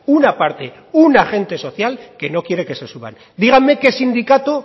una parte un agente social que no quiere que se suban díganme qué sindicato